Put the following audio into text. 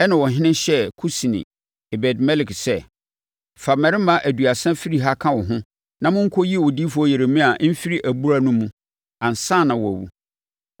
Ɛna ɔhene hyɛɛ Kusni, Ebed-Melek sɛ, “Fa mmarima aduasa firi ha ka wo ho, na monkɔyi odiyifoɔ Yeremia mfiri abura no mu, ansa na wawu.”